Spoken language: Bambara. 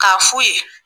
K'a fu ye